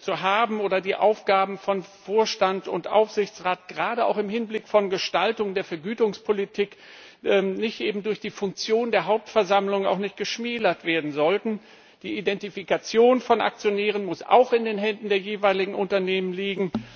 zu haben, wobei die Aufgaben von Vorstand und Aufsichtsrat gerade auch im Hinblick auf die Gestaltung der Vergütungspolitik durch die Funktion der Hauptversammlung auch nicht geschmälert werden sollten. Die Identifikation von Aktionären muss auch in den Händen der jeweiligen Unternehmen liegen.